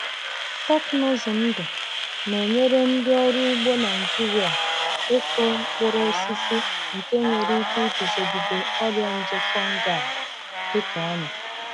Teknụzụ ndụ na-enyere ndị ọrụ ugbo Nigeria ịkụ mkpụrụ osisi nke nwere ike iguzogide ọrịa nje fungi dị ka ọnya.